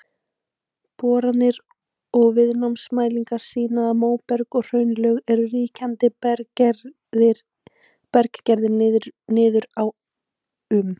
Boranir og viðnámsmælingar sýna að móberg og hraunlög eru ríkjandi berggerðir niður á um